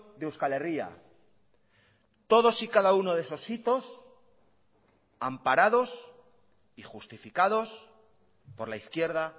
de euskal herria todos y cada uno de esos hitos amparados y justificados por la izquierda